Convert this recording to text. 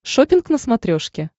шоппинг на смотрешке